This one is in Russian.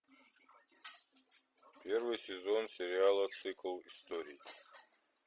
первый сезон сериала цикл историй